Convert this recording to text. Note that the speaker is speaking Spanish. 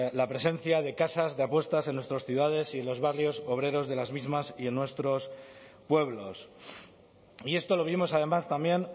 la presencia de casas de apuestas en nuestras ciudades y en los barrios obreros de las mismas y en nuestros pueblos y esto lo vimos además también